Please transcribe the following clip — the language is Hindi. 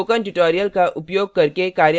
spoken tutorials का उपयोग करके कार्यशालाएँ भी चलाती है